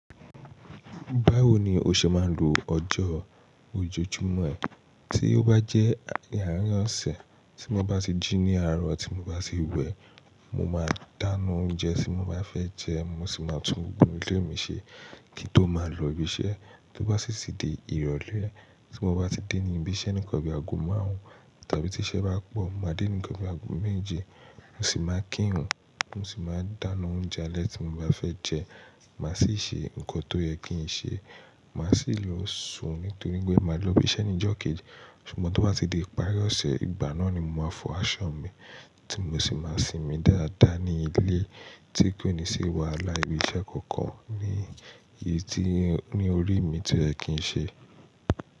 Báwo ni o ṣe máa ń lo ọjọ́ ojoojúmọ́ ẹ? Tí ó bá jẹ́ àárín ọ̀sẹ̀ tí mo bá tì jí ní àárọ̀ tí mo bá ti wẹ, mo máa dáná oúnjẹ tí mo bá fẹ́ jẹ́, mo sì máa tún gbogbo ilé mi ṣe kí n tó máa lọ ibi iṣẹ́. Tí ó bá sì ti di ìrọ̀lẹ́ tí mo bá ti dé níbi iṣẹ́ níkan bí i ago márùn-ún tàbí tí iṣẹ́ bá pọ̀, mo máa dé níkan bí i ago méje mo sì máa kírun, mo sì máa dáná oúnjẹ alẹ́ tí mo bá fẹ́ jẹ́, mà sì ṣe nǹkan tó yẹ kí n ṣe, mà sì lọ sùn nítorí pé màá lọ ibi iṣẹ́ ní ìjọ́ kejì. Ṣùgbọ́n tí ó bá ti di ìparí ọ̀sẹ̀, ìgbà náà ni mo máa fọ aṣọ mi tí mo sì máa sinmi dáadáa ní ilé tí kò ní sì wàhálà ibi iṣẹ́ kankan ní ìdí ní orí mi tí o yẹ kì n ṣe.